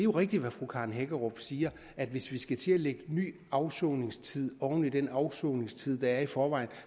rigtigt hvad fru karen hækkerup siger at hvis vi skal til at lægge ny afsoningstid oven i den afsoningstid der er i forvejen